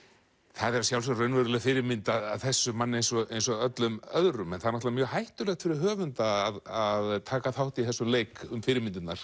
það er að sjálfsögðu raunveruleg fyrirmynd að þessum manni eins og eins og öllum öðrum en það er mjög hættulegt fyrir höfund að taka þátt í þessum leik um fyrirmyndirnar